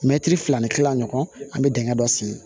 Mɛtiri fila ni kila ɲɔgɔn an bɛ dingɛ dɔ sen